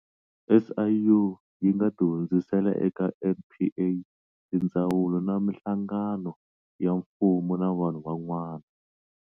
SIU yi nga ti hundzisela eka NPA, tindzawulo na mihlagano ya mfumo na vanhu van'wana.